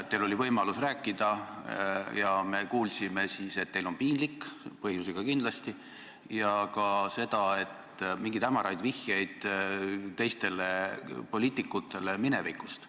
Teil oli võimalus rääkida ja me kuulsime, et teil on piinlik – kindlasti põhjusega –, ja kuulsime ka mingeid hämaraid vihjeid teistele poliitikutele minevikust.